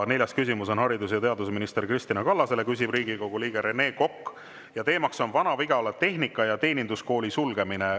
Neljas küsimus on haridus- ja teadusminister Kristina Kallasele, küsib Riigikogu liige Rene Kokk ja teema on Vana-Vigala Tehnika- ja Teeninduskooli sulgemine.